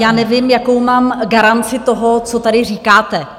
Já nevím, jakou mám garanci toho, co tady říkáte.